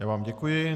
Já vám děkuji.